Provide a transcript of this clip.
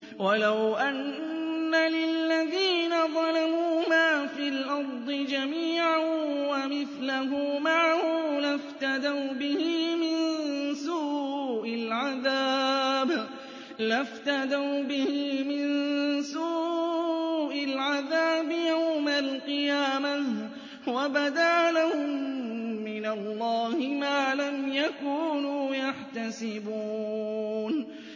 وَلَوْ أَنَّ لِلَّذِينَ ظَلَمُوا مَا فِي الْأَرْضِ جَمِيعًا وَمِثْلَهُ مَعَهُ لَافْتَدَوْا بِهِ مِن سُوءِ الْعَذَابِ يَوْمَ الْقِيَامَةِ ۚ وَبَدَا لَهُم مِّنَ اللَّهِ مَا لَمْ يَكُونُوا يَحْتَسِبُونَ